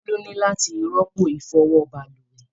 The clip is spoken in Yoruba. Bolu ní láti rọ́pò ifọwọ balùwẹ.